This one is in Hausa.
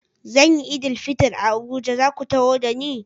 Zan yi Eid-el-Fitr a Abuja, za ku taho da ni?